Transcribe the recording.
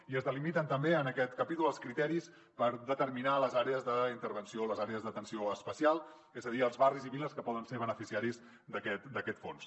i es delimiten també en aquest capítol els criteris per determinar les àrees d’intervenció les àrees d’atenció especial és a dir els barris i viles que poden ser beneficiaris d’aquest fons